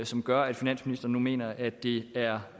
som gør at finansministeren nu mener at det er